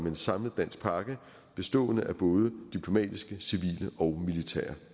en samlet dansk pakke bestående af både diplomatiske civile og militære